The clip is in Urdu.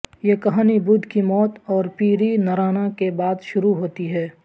یہ کہانی بدھ کی موت اور پیرینرانا کے بعد شروع ہوتی ہے